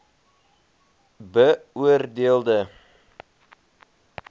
beoor deel de